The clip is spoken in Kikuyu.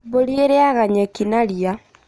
Mbũri ĩrĩaga nyeki na ria